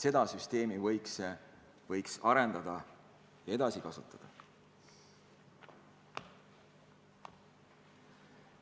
Seda süsteemi võiks arendada ja edasi kasutada.